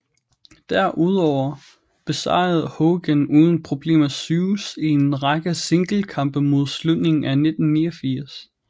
Derudover besejrede Hogan uden problemer Zeus i en række singlekampe mod slutningen af 1989